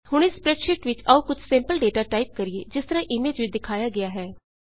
ਹੁਣ ਇਸ ਸਪ੍ਰੈਡਸ਼ੀਟ ਵਿੱਚ ਆਉ ਕੁਝ ਸੈਂਪਲ ਡੇਟਾ ਟਾਈਪ ਕਰੀਏ ਜਿਸ ਤਰਾਂ ਇਮੇਜ ਵਿੱਚ ਦਿਖਾਇਆ ਗਿਆ ਹੈ